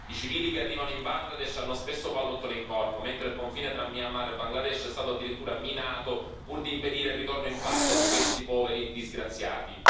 I civili che arrivano in Bangladesh hanno spesso pallottole in corpo, mentre il confine tra Myanmar e Bangladesh è stato addirittura minato, pur di impedire il ritorno in patria di questi poveri disgraziati.